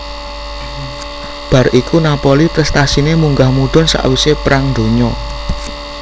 Bar iku Napoli prestasine munggah mudhun sakwise Perang Donya